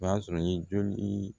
O b'a sɔrɔ i ye joli